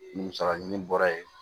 Musaka ɲini bɔra yen